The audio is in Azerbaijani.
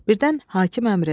Birdən hakim əmr elədi.